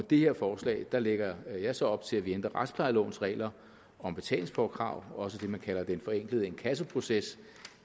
det her forslag lægger jeg så op til at vi ændrer retsplejelovens regler om betalingspåkrav også det man kalder den forenklede inkassoproces